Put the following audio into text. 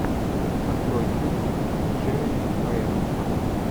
открой фильм с джереми айронсом